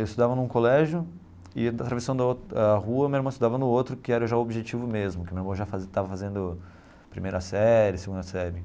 Eu estudava num colégio e, atravessando a rua, meu irmão estudava no outro, que era já o Objetivo mesmo, que meu irmão já fazia estava fazendo a primeira série, a segunda série,